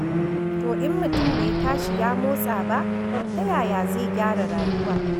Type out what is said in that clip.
To in mutum bai tashi ya motsa ba, ta yaya zai gyara rayuwa.